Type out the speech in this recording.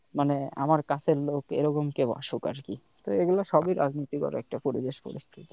মানে আমার কাছের লোক এরকম কেউ আসুক আরকি এগুলো সবি রাজনীতিগত একটা পরিবেশ পরিস্থিতি